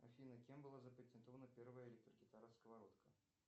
афина кем была запатентована первая электрогитара сковородка